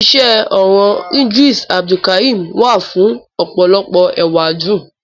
Iṣẹ orọn Idris Abdulkarim wa fun ọpọlọpọ ewadun.